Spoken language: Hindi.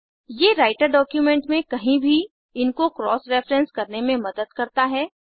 ये राइटर डॉक्यूमेंट में कहीं भी इनको क्रॉस रेफेरेंस करने में मदद करता है